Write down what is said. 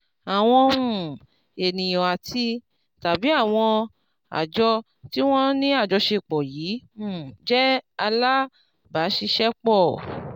àwọn um ènìyàn àti tàbí àwọn àjọ tí wọ́n ní àjọṣepọ̀ yìí um jẹ́ alábàáṣiṣẹ́pọ̀